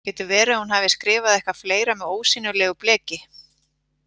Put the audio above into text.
Getur verið að hún hafi skrifað eitthvað fleira með ósýnilegu bleki?